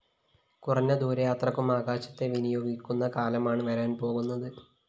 കുറഞ്ഞ ദൂരയാത്രയ്ക്കും ആകാശത്തെ വിനിയോഗിക്കുന്ന കാലമാണ്‌ വരാന്‍ പോകുന്നത്‌